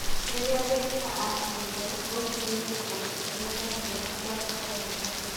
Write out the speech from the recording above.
Rĩrĩa ndereba aakinyire, oigire atĩ kũndũ kũrĩa ndaathiaga kwarĩ kũraya mũno.